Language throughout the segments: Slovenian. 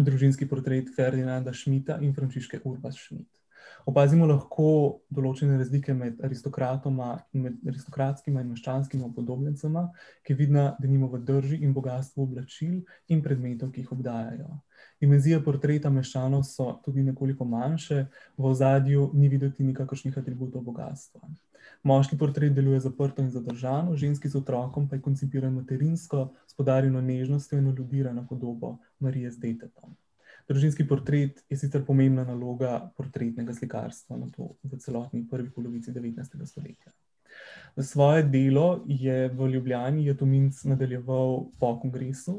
družinski portret Ferdinanda Schmidta in Frančiške Urbas Schmidt. Opazimo lahko določene razlike med aristokratoma in aristokratskima in meščanskima upodobljencema, ki je vidna denimo v drži in bogastvu oblačil in predmetov, ki jih obdajajo. Dimenzije portretov meščanov so tudi nekoliko manjše, v ozadju ni videti nikakršnih atributov bogastva. Moški portret deluje zaprto in zadržano, ženski z otrokom pa je koncipiran materinsko, s poudarjeno nežnostjo in podobo Marija z detetom. Družinski portret je sicer pomembna naloga portretnega slikarstva nato v celotni prvi polovici devetnajstega stoletja. Svoje delo je v Ljubljani je Tominc nadaljeval po kongresu,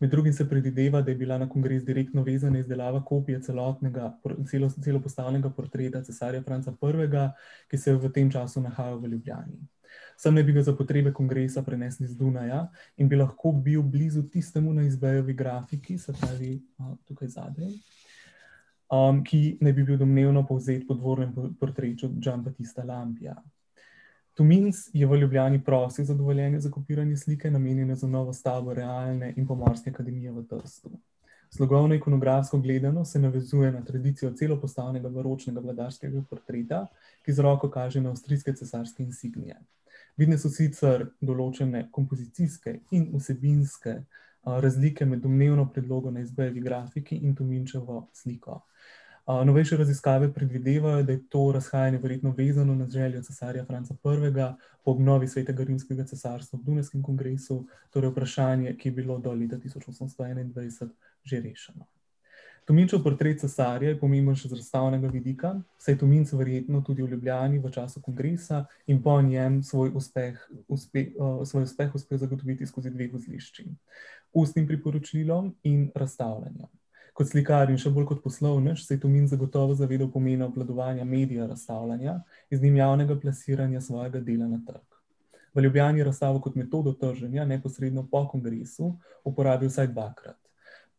med drugim se predvideva, da je bila na kongres direktno vezana izdelava kopije celotnega, v celost postavljenega portreta cesarja Franca Prvega, ki se je v tem času nahajal v Ljubljani. Sem naj bi ga za potrebe kongresa prenesli z Dunaja in bi lahko bil blizu tisti grafiki, se pravi, tukaj zadaj, ki naj bi bil domnevno povzet po portretu . Tominc je v Ljubljani prosil za dovoljenje za kopiranje slike, namenjene za novo stavbo realne in pomorske akademije v Trstu. Slogovno in ikonografsko gledano se navezuje na tradicijo celopostavnega baročnega vladarskega portreta, ki z roko kaže na avstrijske cesarske insignije. Vidne so sicer določene kompozicijske in vsebinske, razlike med domnevno predlogo na grafiki in Tominčevo sliko. novejše raziskave predvidevajo, da je to razhajanje verjetno vezano na željo cesarja Franca Prvega, ob obnovi Svetega rimskega cesarstva ob dunajskem kongresu, torej vprašanje, ki je bilo do leta tisoč osemsto enaindvajset že rešeno. Tominčev portret cesarja je pomemben še z razstavnega vidika, saj Tominc verjetno tudi v Ljubljani v času kongresa in po njem svoj uspeh svoj uspeh uspel zagotoviti skozi dve vozlišči. Ustnim priporočilom in razstavljanjem. Kot slikar in še bolj kot poslovnež se je Tominc zagotovo zavedal pomena obvladovanja medija razstavljanja in z njim javnega plasiranja svojega dela na trg. V Ljubljani je razstavo kot metodo trženja neposredno po kongresu uporabil vsaj dvakrat.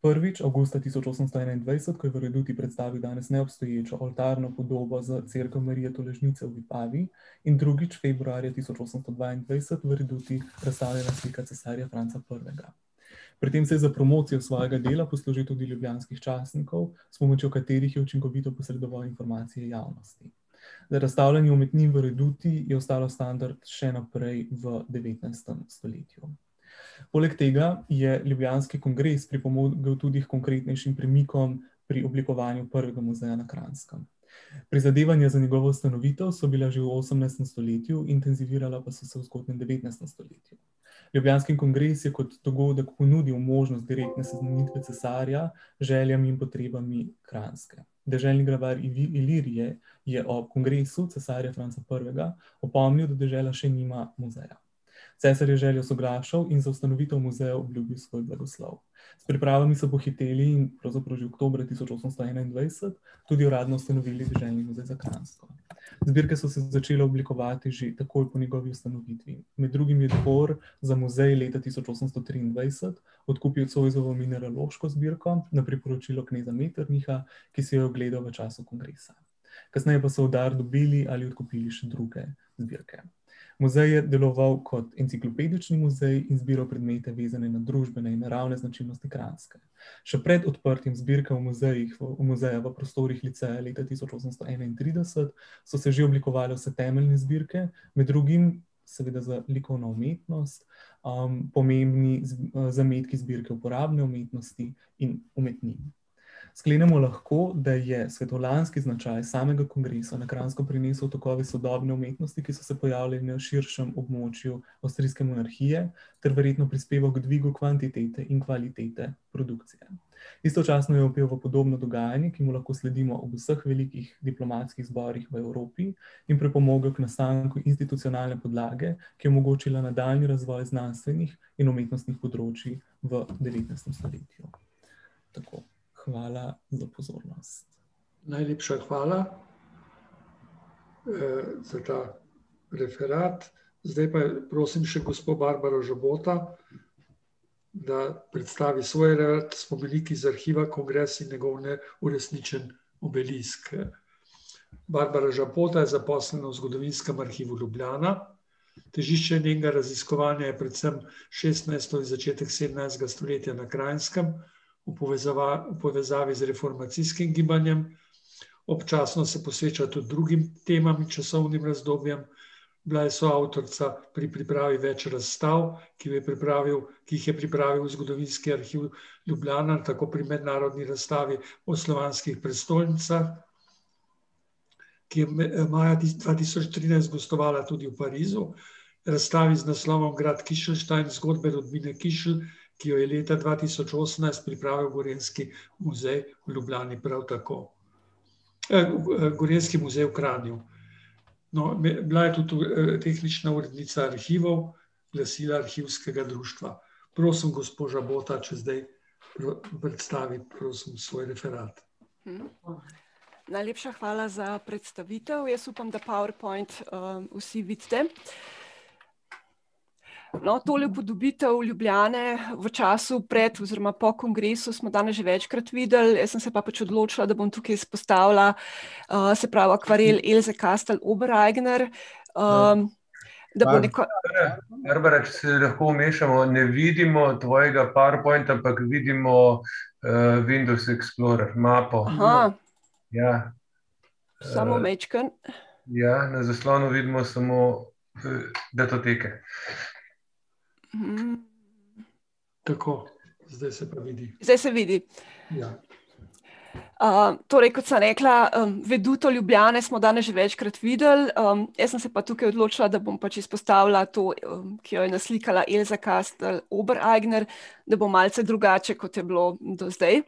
Prvič avgusta tisoč osemsto enaindvajset, ko je v reduti predstavil danes neobstoječo oltarno podobo za cerkev Marije Tolažnice v Vipavi, in drugič februarja tisoč osemsto dvaindvajset v reduti razstavljena slika cesarja Franca Prvega. Pri tem se je za promocijo svojega dela poslužil tudi ljubljanskih časnikov, s pomočjo katerih je učinkovito posredoval informacije javnosti. No, razstavljanje umetnin v reduti je ostalo standard še naprej v devetnajstem stoletju. Poleg tega je ljubljanski kongres pripomogel tudi h konkretnejšim premikom pri oblikovanju prvega muzeja na Kranjskem. Prizadevanja za njegovo stanovitost so bila že v osemnajstem stoletju, intenzivirala pa so se v zgodnjem devetnajstem stoletju. Ljubljanski kongres je kot dogodek ponudil možnost direktne seznanitve cesarja, željam in potrebami Kranjske. Deželni glavar Ilirije je ob kongresu cesarja Franca Prvega opomnil, da dežela še nima muzeja. Cesar je z željo soglašal in za ustanovitev muzeja obljubil svoj blagoslov. S pripravami so pohiteli in pravzaprav že oktobra tisoč osemsto enaindvajset tudi uradno ustanovili deželni muzej za Kranjsko. Zbirke so se začele oblikovati že takoj po njegovi ustanovitvi. Med drugim je dvor za muzej leta tisoč osemsto triindvajset odkupil Zoisovo mineraloško zbirko na priporočilo kneza Metternicha, ki si jo je ogledal v času kongresa. Kasneje pa so v dar dobili ali odkupili še druge zbirke. Muzej je deloval kot enciklopedični muzej in zbiral predmete, vezane na družbene in naravne značilnosti Kranjske. Še pred odprtjem zbirke v muzejih, muzeja v prostorih liceja leta tisoč osemsto enaintrideset so se že oblikovale vse temeljne zbirke, med drugim seveda za likovno umetnost, pomembni zametki zbirke uporabne umetnosti in umetnin. Sklenemo lahko, da je svetovljanski značaj samega kongresa na Kranjsko prinesel tokove sodobne umetnosti, ki so se pojavili na širšem območju avstrijske monarhije, ter verjetno prispeval k dvigu kvantitete in kvalitete produkcije. Istočasno je opeval podobno dogajanje, ki mu lahko sledimo v vseh velikih diplomatskih zborih v Evropi, in pripomogel k nastajanju institucionalne podlage, ki je omogočila nadaljnji razvoj znanstvenih in umetnostnih področij v devetnajstem stoletju. Tako. Hvala za pozornost. [anonimiziran govor] Najlepša hvala za predstavitev, jaz upam, da powerpoint, vsi vidite. No, tole upodobitev Ljubljane v času pred oziroma po kongresu smo danes že večkrat videli, jaz sem se pa pač odločila, da bom tukaj izpostavila, se pravi akvarel Elze Kajstr Obrajgnr, Da bo neko ... [anonimiziran govor] [anonimiziran govor] Samo majčkeno. [anonimiziran govor] [anonimiziran govor] Zdaj se vidi? [anonimiziran govor] torej kot sem rekla, veduto Ljubljane smo danes že večkrat videli, jaz sem se pa tukaj odločila, da bom pač izpostavila to, ki jo je naslikala Elza Kastel Obereigner, da bo malce drugače, kot je bilo do zdaj. ...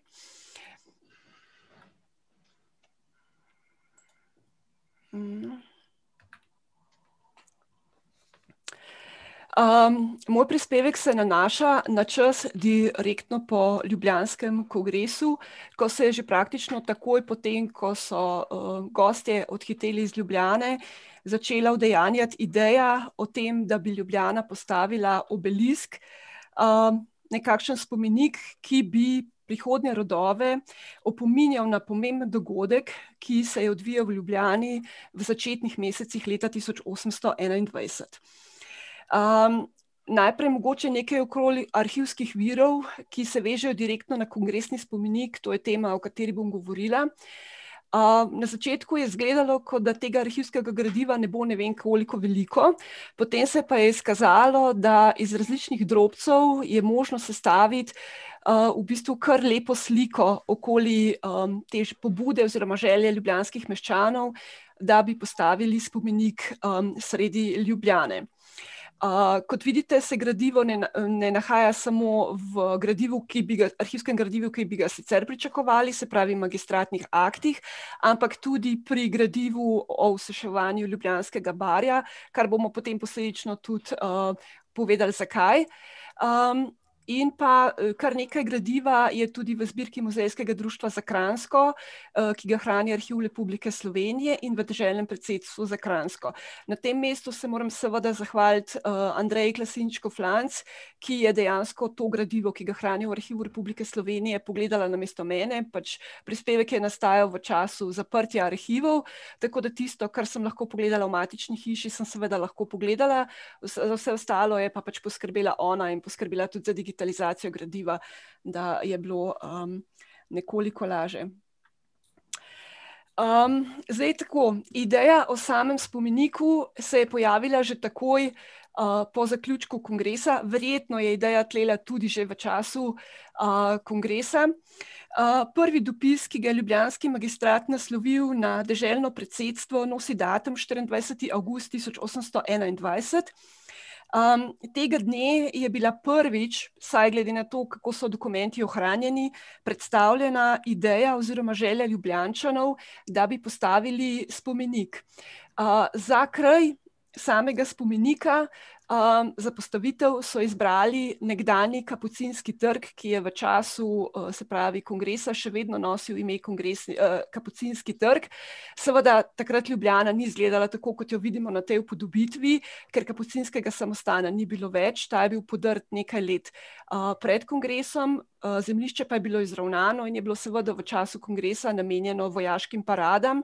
moj prispevek se nanaša na čas direktno po ljubljanskem kongresu, ko se je že praktično takoj po tem, ko so, gostje odhiteli iz Ljubljane, začela udejanjati ideja o tem, da bi Ljubljana postavila obelisk. nekakšen spomenik, ki bi prihodnje rodove opominjal na pomemben dogodek, ki se je odvijal v Ljubljani v začetnih mesecih leta tisoč osemsto enaindvajset. najprej mogoče nekaj okoli arhivskih virov, ki se vežejo direktno na kongresni spomenik, to je tema, o kateri bom govorila. na začetku je izgledalo, kot da tega arhivskega gradiva ne bo ne vem koliko veliko, potem se je pa izkazalo, da iz različnih drobcev je možno sestaviti, v bistvu kar lepo sliko okoli, te pobude oziroma želje ljubljanskih meščanov, da bi postavili spomenik, sredi Ljubljane. kot vidite, se gradivo ne ne nahaja samo v gradivu, ki bi ga, arhivskem gradivu, ki bi ga sicer pričakovali, se pravi magistratnih aktih, ampak tudi pri gradivu o osuševanju Ljubljanskega barja, kar bomo potem posledično tudi, povedali, zakaj. in pa kar nekaj gradiva je tudi v zbirki muzejskega društva za Kranjsko, ki ga hrani Arhiv Republike Slovenije in v deželnem predsedstvu za Kranjsko. Na tem mestu se moram seveda zahvaliti, [ime in priimek], ki je dejansko to gradivo, ki hranimo v Arhivu Republike Slovenije, pogledala namesto mene, pač prispevek je nastajal v času zaprtja arhivov. Tako da tisto, kar sem lahko pogledala v matični hiši, sem seveda lahko pogledala, vse ostalo je pač poskrbela ona in poskrbela tudi za digitalizacijo gradiva, da je bilo, nekoliko laže. zdaj tako, ideja o samimi spomeniku se je pojavila že takoj, po zaključku kongresa, verjetno je ideja tlela tudi že v času, kongresa. prvi dopis, ki ga je ljubljanski magistrat naslovil na deželno predsedstvo, nosi datum štiriindvajseti avgust tisoč osemsto enaindvajset, tega dne je bila prvič, vsaj glede na to, kako so dokumenti ohranjeni, predstavljena ideja oziroma želja Ljubljančanov, da bi postavili spomenik. za kraj samega spomenika, za postavitev so izbrali nekdanji Kapucinski trg, ki je v času, se pravi kongresa še vedno nosil ime Kapucinski trg, seveda takrat Ljubljana ni izgledala tako, kot jo vidimo na tej upodobitvi, ker kapucinskega samostana ni bilo več, ta je bil podrt nekaj let, pred kongresom. zemljišče pa je bilo izravnano in je bilo seveda v času kongresa namenjeno vojaškim paradam.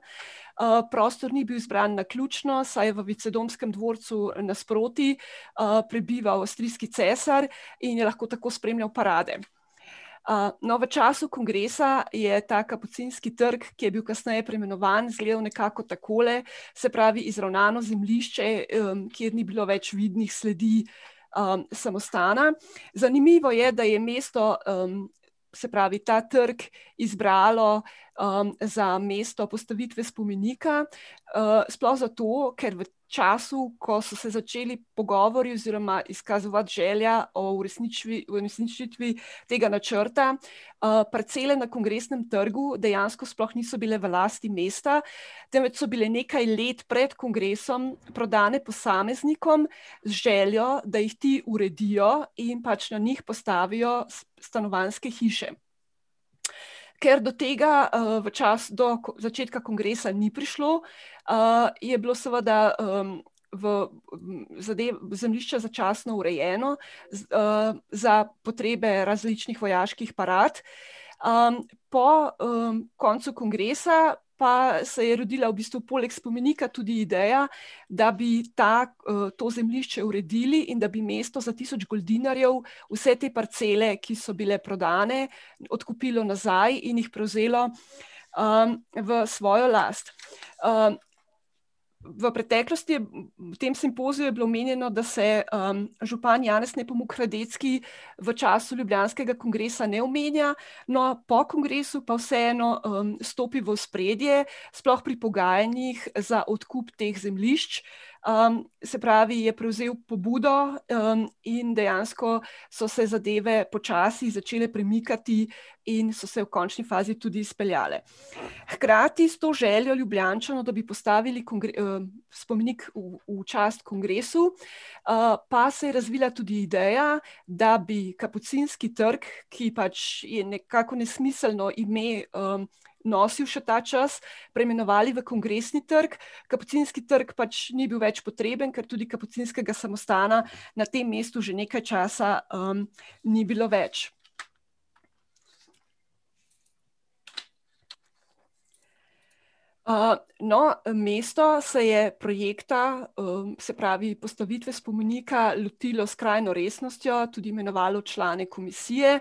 prostor ni bil izbran naključno, saj je v Vicedomskem dvorcu nasproti, prebival avstrijski cesar in je lahko tako spremljal parade. no, v času kongresa je ta Kapucinski trg, ki je bil kasneje preimenovan, izgledal nekako takole. Se pravi, izravnano zemljišče, kjer ni bilo več vidnih sledi, samostana. Zanimivo je, da je mesto, se pravi, ta trg izbralo, za mesto postavitve spomenika. sploh zato, ker v času, ko so se začeli pogovori oziroma izkazovati želja o uresničitvi tega načrta, parcele na Kongresnem trgu dejansko sploh niso bile v lasti mesta, temveč so bile nekaj let pred kongresom prodane posameznikom, z željo, da jih ti uredijo in pač na njih postavijo stanovanjske hiše. Ker do tega, v do začetka kongresa ni prišlo, je bilo seveda, v zemljišče začasno urejeno, za potrebe različnih vojaških parad, po, koncu kongresa pa se je rodila v bistvu poleg spomenika tudi ideja, da bi ta, to zemljišče uredili in da bi mesto za tisoč goldinarjev vse te parcele, ki so bile prodane, odkupilo nazaj in jih prevzelo, v svojo last. v preteklosti, v tem simpoziju je bilo omenjeno, da se, župan Janez Nepomuk Radetski v času ljubljanskega kongresa ne omenja, no, po kongresu pa vseeno, stopi v ospredje, sploh pri pogajanjih za odkup teh zemljišč, se pravi, je prevzel pobudo, in dejansko so se zadeve počasi začele premikati in so se v končni fazi tudi izpeljale. Hkrati s to željo Ljubljančanov, da bi postavili spomenik v, v čast kongresu, pa se je razvila tudi ideja, da bi Kapucinski trg, ki pač je nekako nesmiselno ime, nosili še ta čas, preimenovali v Kongresni trg, Kapucinski trg pač ni bil več potreben, ker tudi kapucinskega samostana na tem mestu že nekaj časa, ni bilo več. no, mesto se je projekta, se pravi postavitve spomenika lotilo s skrajno resnostjo, tudi imenovalo člane komisije,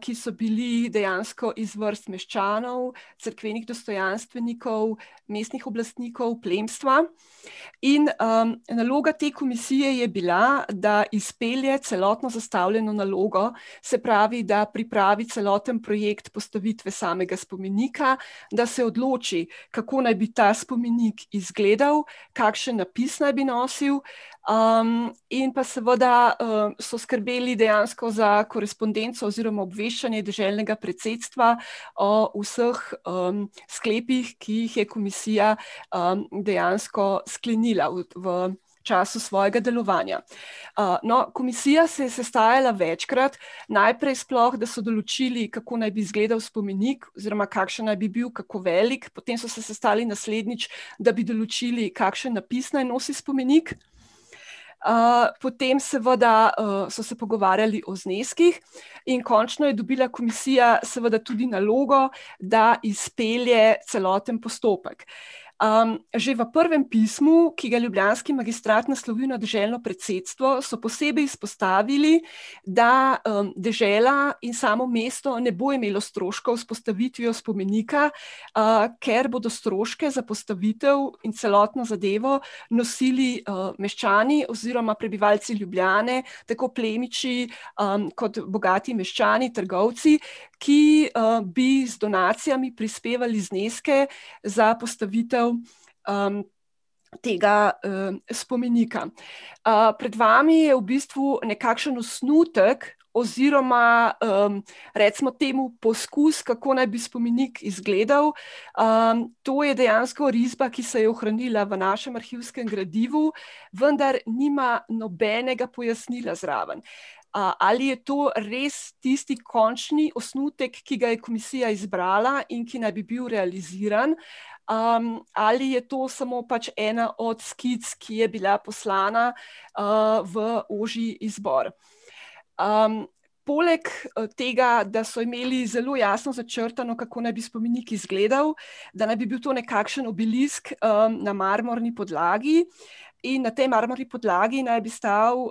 ki so bili dejansko iz vrst meščanov, cerkvenih dostojanstvenikov, mestnih oblastnikov, plemstva, in, naloga te komisije je bila, da izpelje celotno zastavljeno nalogo, se pravi, da pripravi celoten projekt postavitve samega spomenika, da se odloči, kako naj bi ta spomenik izgledal, kakšen napis naj bi nosil, in pa seveda, so skrbeli dejansko za korespondenco oziroma obveščanje deželnega predsedstva, o vseh, sklepih, ki jih je komisija dejansko sklenila v času svojega delovanja. no, komisija se je sestajala večkrat, najprej sploh, da so določili, kako naj bi izgledal spomenik oziroma kakšen naj bi bil, kako velik, potem so se sestali naslednjič, da bi določili, kakšen napis naj nosi spomenik. potem seveda, so se pogovarjali o zneskih in končno je dobila komisija seveda tudi nalogo, da izpelje celoten postopek. že v prvem pismu, ki ga ljubljanski magistrat naslovi na deželno predsedstvo, so posebej izpostavili, da, dežela in samo mesto ne bo imelo stroškov s postavitvijo spomenika, ker bodo stroške za postavitev in celotno zadevo nosili, meščani oziroma prebivalci Ljubljane, tako plemiči, kot bogati meščani, trgovci, ki, bi z donacijami prispevali zneske za postavitev, tega, spomenika. pred vami je v bistvu nekakšen osnutek oziroma, recimo temu poskus, kako naj bi spomenik izgledal, to je dejansko risba, ki se je ohranila v našem arhivskem gradivu, vendar nima nobenega pojasnila zraven, ali je to res tisti končni osnutek, ki ga je komisija izbrala in ki naj bi bil realiziran, ali je to samo pač ena od skic, ki je bila poslana, v ožji izbor. poleg tega, da so imeli zelo jasno začrtano, kako naj bi spomenik izgledal, da naj bi bil to nekakšen obelisk, na marmorni podlagi in na tej marmorni podlagi naj bi stal,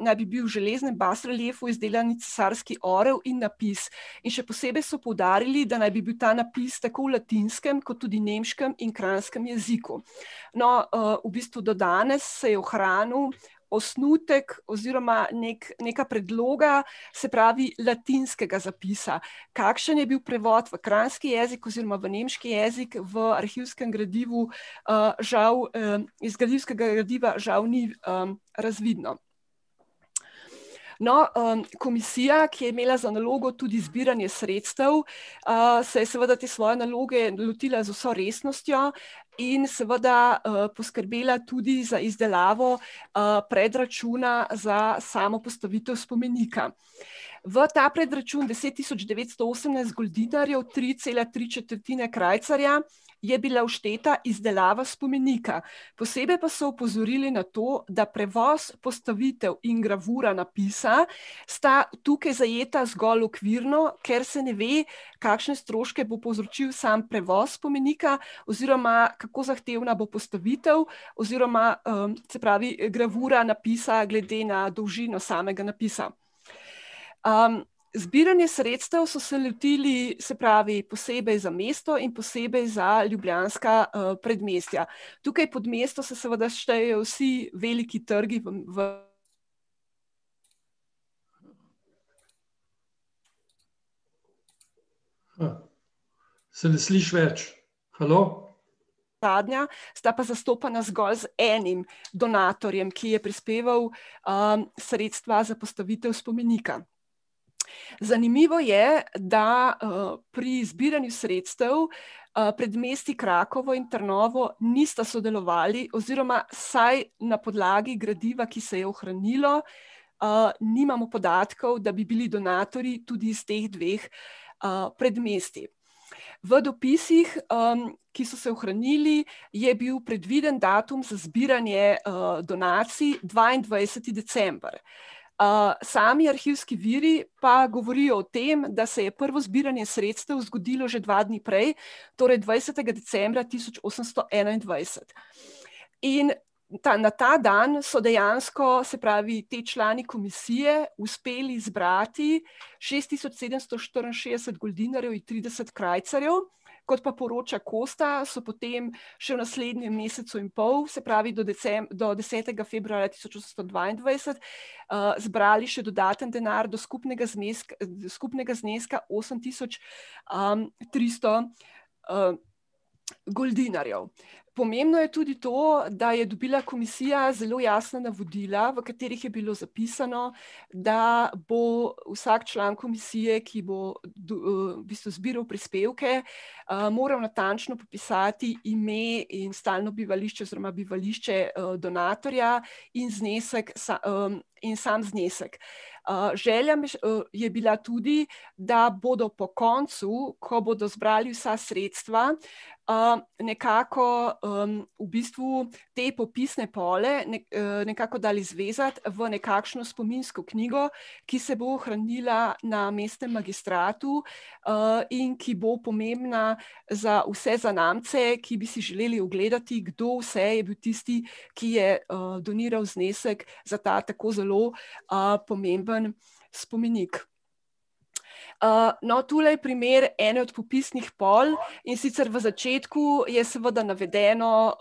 naj bi bil železni reliefu izdelan cesarski orel in napis. In še posebej so poudarili, da naj bi bil ta napis tako v latinskem kot tudi nemškem in kranjskem jeziku. No, v bistvu do danes se je ohranil osnutek oziroma neka predloga, se pravi latinskega zapisa. Kakšen je bil prevod v kranjski jezik oziroma v nemški jezik v arhivskem gradivu, žal, iz arhivskega gradiva žal ni, razvidno. No, komisija, ki je imela za nalogo tudi zbiranje sredstev, se je seveda te svoje naloge lotila z vso resnostjo in seveda, poskrbela tudi za izdelavo, predračuna za samo postavitev spomenika. V ta predračun, deset tisoč devetsto goldinarjev, tri, cele tri četrtine krajcarja, je bila všteta izdelava spomenika. Posebej pa so opozorili na to, da prevoz, postavitev in gravura napisa sta tukaj zajeta zgolj okvirno, ker se ne ve, kakšne stroške bo povzročil sam prevoz spomenika, oziroma kako zahtevna bo postavitev oziroma, se pravi gravura napisa glede na dolžino samega napisa. zbiranja sredstev so se lotili, se pravi posebej za mesto in posebej za ljubljanska, predmestja. Tukaj pod mesto se seveda štejejo vsi veliki trgi v ... [anonimiziran govor] sta pa zastopana zgolj z enim donatorjem, ki je prispeval, sredstva za postavitev spomenika. Zanimivo je, da, pri zbiranju sredstev, predmestji Krakovo in Trnovo nista sodelovali oziroma vsaj na podlagi gradiva, ki se je ohranilo, nimamo podatkov, da bi bili donatorji tudi s teh dveh, predmestij. V dopisih, ki so se ohranili, je bil predviden datum za zbiranje, donacij dvaindvajseti december. sami arhivski viri pa govorijo o tem, da se je prvo zbiranje sredstev zgodilo že dva dni prej, torej dvajsetega decembra tisoč osemsto enaindvajset. In ta, na ta dan so dejansko, se pravi, ti člani komisije uspeli zbrati šest tisoč sedemsto štiriinšestdeset goldinarjev in trideset krajcarjev, kot pa poroča Kosta, so potem še v naslednjem mesecu in pol, se pravi do do desetega februarja tisoč osemsto dvaindvajset, zbrali še dodaten denar do skupnega do skupnega zneska osem tisoč, tristo, goldinarjev. Pomembno je tudi to, da je dobila komisija zelo jasna navodila, v katerih je bilo zapisano, da bo vsak član komisije, ki bo v bistvu zbiral prispevke, moral natančno popisati ime in stalno bivališče oziroma bivališče, donatorja in znesek in samo znesek. želja je bila tudi, da bodo po koncu, ko bodo zbrali vsa sredstva, nekako, v bistvu te popisne pol nekako dali zvezati v nekakšno spominsko knjigo, ki se bo ohranila na mestnem magistratu, in ki bo pomembna za vse zanamce, ki bi si želeli ogledati, kdo vse je bil tisti, ki je, doniral znesek za ta tako zelo, pomemben spomenik. no, tule primer ene od popisnih pol, in sicer v začetku je seveda navedeno,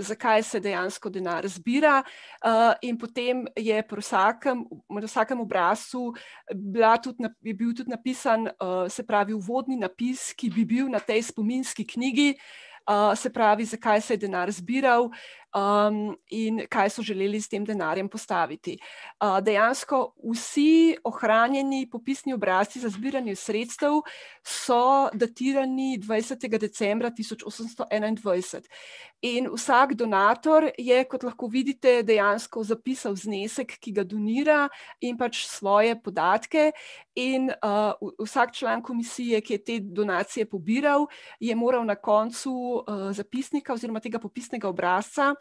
zakaj se dejansko denar zbira, in potem je pri vsakem, v vsakem obrazcu bila tudi je bil tudi napisano, se pravi uvodni napis, ki bi bil na tej spominski knjigi, se pravi, zakaj se je denar zbiral, in kaj so želeli s tem denarjem postaviti. dejansko vsi ohranjeni popisni obrazci za zbiranje sredstev so datirani dvajsetega decembra tisoč osemsto enaindvajset. In vsak donator je, kot lahko vidite, dejansko zapisal znesek, ki ga donira, in pač svoje podatke, in, vsak član komisije, ki je te donacije pobiral, je moral na koncu popisnika oziroma tega popisnega obrazca,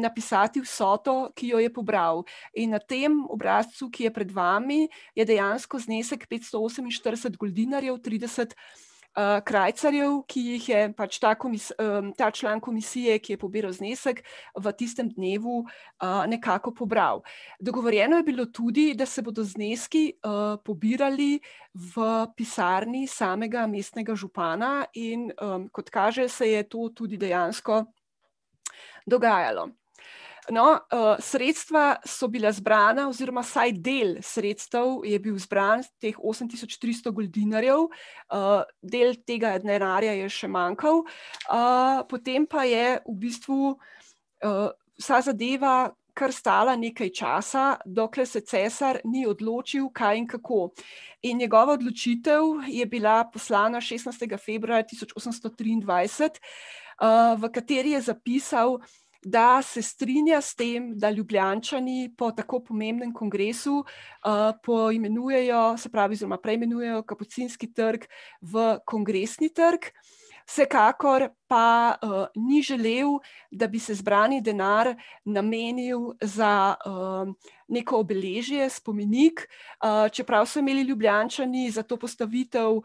napisati vsoto, ki jo je pobral. In na tem obrazcu, ki je pred vami, je dejansko znesek petsto oseminštirideset goldinarjev, trideset, krajcarjev, ki jih je pač ta ta član komisije, ki je pobiral znesek, v tistem dnevu, nekako pobral. Dogovorjeno je bilo tudi, da se bodo zneski, pobirali v pisarni samega mestnega župana in, kot kaže, se je to tudi dejansko dogajalo. No, sredstva so bila zbrana oziroma vsaj del sredstev je bil zbran, teh osem tisoč tristo goldinarjev, del tega denarja je še manjkal, potem pa je v bistvu, vsa zadeva kar stala nekaj časa, dokler se cesar ni odločil, kaj in kako. In njegova odločitev je bila poslana šestnajstega februarja tisoč osemsto triindvajset, v kateri je zapisal, da se strinja s tem, da Ljubljančani po tako pomembnem kongresu, poimenujejo, se pravi oziroma preimenujejo Kapucinski trg v Kongresni trg. Vsekakor pa, ni želel, da bi se zbrani denar namenil za, neko obeležje, spomenik, čeprav so imeli Ljubljančani za to postavitev,